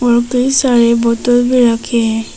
और कई सारे बोतल भी रखे हैं।